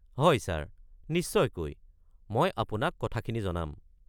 হয় ছাৰ, নিশ্চয়কৈ, মই আপোনাক কথাখিনি জনাম।